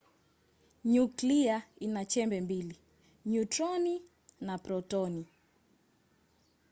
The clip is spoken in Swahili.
nyuklia ina chembe mbili - nyutroni na protoni